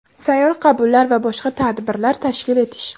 Sayyor qabullar va boshqa tadbirlar tashkil etish.